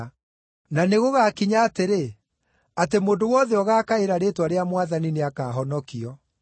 Na nĩgũgakinya atĩrĩ, atĩ mũndũ wothe ũgaakaĩra rĩĩtwa rĩa Mwathani nĩakahonokio.’